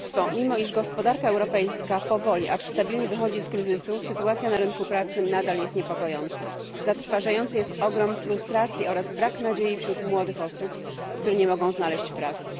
Mimo iż gospodarka europejska powoli, acz stabilnie, wychodzi z kryzysu, sytuacja na rynku pracy nadal jest niepokojąca. Zatrważający jest ogrom frustracji oraz brak nadziei wśród młodych osób, które nie mogą znaleźć pracy.